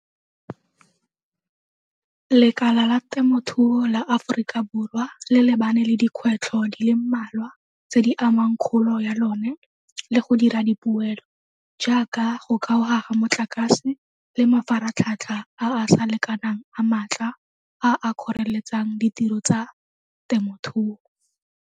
Lekala la temothuo la Aforika Borwa le lebane le dikgwetlho di le mmalwa tse di amang kgolo ya lone le go dira di poelo jaaka go kgaoga ga motlakase le mafaratlhatlha a a sa lekanang a maatla a a kgoreletsang ditiro tsa temothuo.